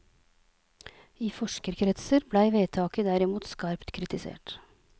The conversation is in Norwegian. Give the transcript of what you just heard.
I forskerkretser blei vedtaket derimot skarpt kritisert.